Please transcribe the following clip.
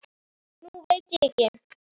Nú veit ég ekki.